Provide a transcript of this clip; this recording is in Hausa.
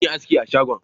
Zan yi aski a shagonsa